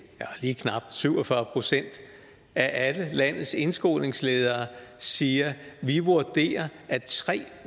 lige knap syv og fyrre procent af alle landets indskolingsledere siger at de vurderer at tre